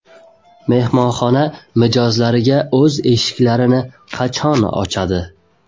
Mehmonxona mijozlariga o‘z eshiklarini qachon ochadi?